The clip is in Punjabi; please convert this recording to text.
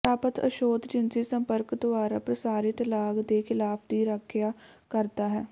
ਪ੍ਰਾਪਤ ਔਸ਼ਧ ਜਿਨਸੀ ਸੰਪਰਕ ਦੁਆਰਾ ਪ੍ਰਸਾਰਿਤ ਲਾਗ ਦੇ ਖਿਲਾਫ ਦੀ ਰੱਖਿਆ ਕਰਦਾ ਹੈ